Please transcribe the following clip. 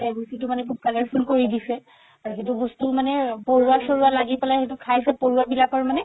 ৰুচিতো মানে খুব colorful কৰি দিছে আৰু সেইটো বস্তু মানে পৰুৱা চৰুৱা লাগি পেলাই সেইটো খাইছে পৰুৱা বিলাকৰ মানে